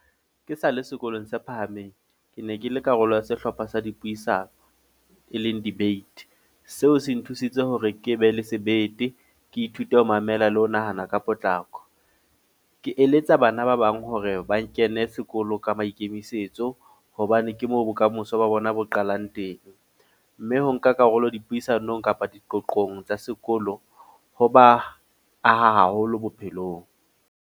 Ke sa le sekolong se phahameng. Ke ne ke le karolo ya sehlopha sa dipuisano, e leng debate. Seo se nthusitse hore ke be le sebete. Ke ithute ho mamela le ho nahana ka potlako. Ke eletsa bana ba bang hore ba kene sekolo ka maikemisetso. Hobane ke moo bokamoso ba bona bo qalang teng. Mme ho nka karolo dipuisanong kapa diqoqong tsa sekolo, ho ba aha haholo bophelong.